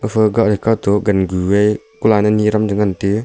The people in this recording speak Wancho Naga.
afa ga gantoh jangu e kun aa ku ane .]